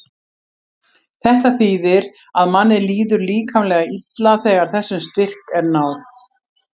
þetta þýðir að manni líður líkamlega illa þegar þessum styrk er náð